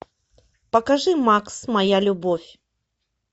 покажи макс моя любовь